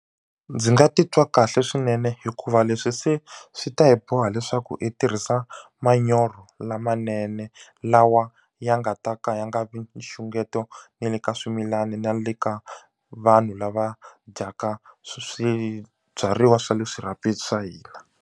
Ndzi nga titwa kahle swinene hikuva leswi se swi ta hi boha leswaku i tirhisa manyoro lamanene lawa ya nga ta ka ya nga vi nxungeto na le ka swimilani na le ka vanhu lava dyaka swibyariwa swa le swirhapeni swa hina.